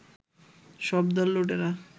সব দল লুটেরা